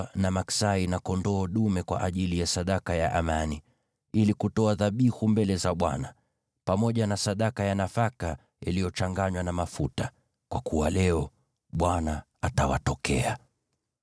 na pia maksai na kondoo dume kwa ajili ya sadaka ya amani, ili kutoa dhabihu mbele za Bwana , pamoja na sadaka ya nafaka iliyochanganywa na mafuta. Kwa kuwa leo Bwana atawatokea.’ ”